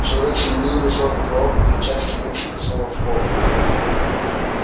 человек с земли нажал кнопку и часть стены скользнула вбок